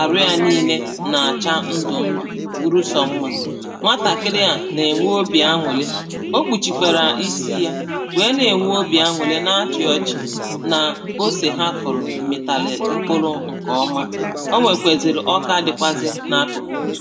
arụ ya niine na-acha ndụ ndụ̀ bụrụ sọ mma nwatakịrị à na-enwe obi an̄ụlị o kpuchikwara isi yā wee na-enwe obi an̄ụlị na achị ọchị̀ naa ose ha kụrụ mịtalị mkpụlụ nke ọmà o nwekwaziri ọka dịkwazị na akụkụ ha